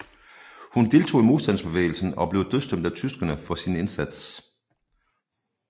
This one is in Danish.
Hun deltog i modstandsbevægelsen og blev dødsdømt af tyskerne for sin indsats